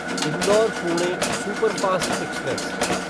Indore Pune superfast express